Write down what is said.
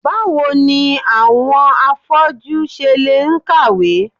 Báwo ni àwọn afọ́jú ṣe le ń kàwé?